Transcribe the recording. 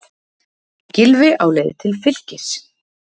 Gylfi á leið til Fylkis